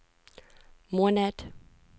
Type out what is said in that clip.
måned